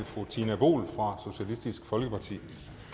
fru tina boel fra socialistisk folkeparti